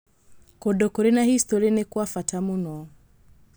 Kũndũ kũrĩ na historĩ nĩ kwa bata mũno.